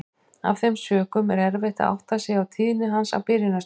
Af þeim sökum er erfitt að átta sig á tíðni hans á byrjunarstigi.